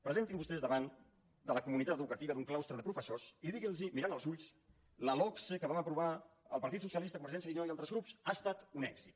presentin se vostès davant de la comunitat educativa d’un claustre de professors i diguin los mirant als ulls la logse que van aprovar el partit socialista convergència i unió i altres grups ha estat un èxit